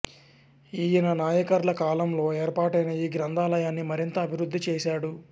ఈయన నాయకర్ల కాలంలో ఏర్పాటైన ఈ గ్రంథాలయాన్ని మరింతగా అభివృద్ధి చేశాడు